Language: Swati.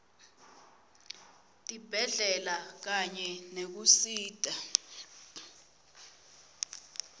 tibhedlela kanye nekusita